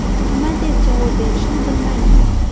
– Nima deb javob berishni bilmaymiz”.